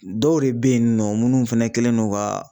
Dɔw de be yen nɔ munnu fɛnɛ kɛlen don ka